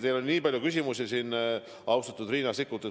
Teil oli nii palju küsimusi, austatud Riina Sikkut.